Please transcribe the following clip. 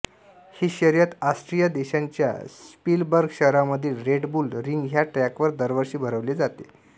ही शर्यत ऑस्ट्रिया देशाच्या श्पीलबर्ग शहरामधील रेड बुल रिंग ह्या ट्रॅकवर दरवर्षी भरवली जाते